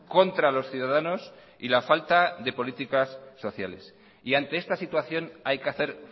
contra los ciudadanos y la falta de políticas sociales y ante esta situación hay que hacer